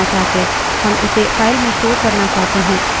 क्या होगा यदि हम इसे terminal पर प्रदर्शित नहीं करना चाहते